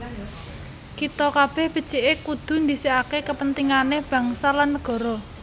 Kita kabeh becike kudu ndhisikake kepentingane bangsa lan negara